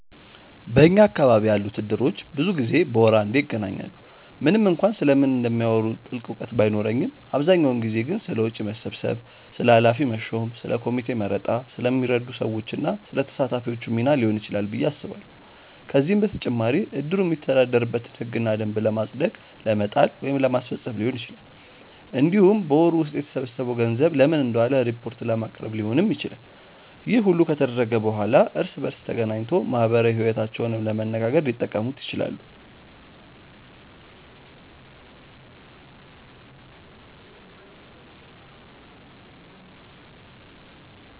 በኛ አካባቢ ያሉት እድሮች ብዙ ጊዜ በወር አንዴ ይገናኛሉ። ምንም እንኳን ስለምን እንደሚያወሩ ጥልቅ እውቀት ባይኖረኝም አብዛኛውን ጊዜ ግን ስለ ወጪ መሰብሰብ፣ ስለ ኃላፊ መሾም፣ ስለ ኮሚቴ መረጣ፣ ስለሚረዱ ሰዎች እና ስለ ተሳታፊዎቹ ሚና ሊሆን ይችላል ብዬ አስባለሁ። ከዚህም በተጨማሪ እድሩ የሚተዳደርበትን ህግና ደንብ ለማጽደቅ ለመጣል ወይም ለማስፈፀም ሊሆን ይችላል። እንዲሁም በወሩ ውስጥ የተሰበሰበው ገንዘብ ለምን እንደዋለ ሪፖርት ለማቅረብ ሊሆንም ይችላል። ይህ ሁሉ ከተደረገ በኋላ እርስ በእርስ ተገናኝቶ ማህበራዊ ይወታቸውንም ለመነጋገር ሊጠቀሙት ይችላሉ።